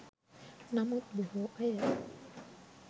නමුත් බොහෝ අය